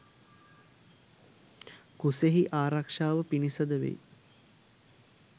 කුසෙහි ආරක්ෂාව පිණිස ද වෙයි.